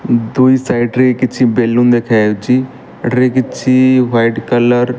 ଦୁଇ ସାଇଟ୍ ରେ କିଛି ବେଲୁନ ଦେଖାଯାଉଚି ଏଠାରେ କିଛି ହ୍ୱାଇଟ୍ କଲର୍ --